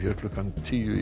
klukkan tíu í